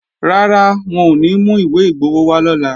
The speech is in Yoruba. Rárá, wọn ò ní mú ìwé igbowó wá lọ́la